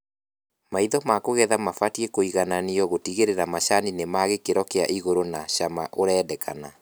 Maitha ma kũgetha mabatie kũigananio gũtigĩrĩra macani ni ma gĩkĩro kia igũru na cama urendekana